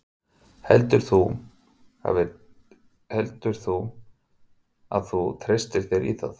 Heldur þú að þú treystir þér í það?